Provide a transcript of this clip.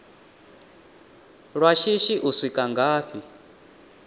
lwa shishi u swika ngafhi